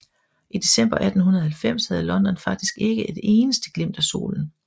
I december 1890 havde London faktisk ikke et eneste glimt af solen